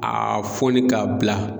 A foni k'a bila.